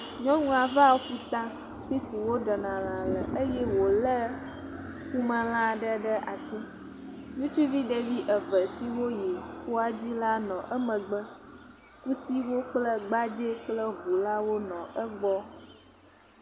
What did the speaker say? Nyɔnua va ƒuta fi si woɖena lã le eye wòlé ƒumelã aɖe ɖe asi. Ŋutsuvi eve siwo yi ƒua dzi la nɔ emegbe. Kusiwo kple gbadzɛwo kple ŋulawo nɔ egbɔ.